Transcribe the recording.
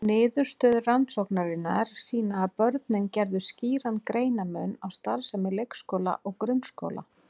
Niðurstöður rannsóknarinnar sýna að börnin gerðu skýran greinarmun á starfsemi leikskóla og grunnskóla.